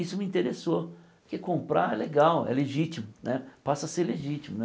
Isso me interessou, porque comprar é legal, é legítimo né, passa a ser legítimo né.